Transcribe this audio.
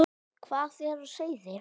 Hvað er á seyði?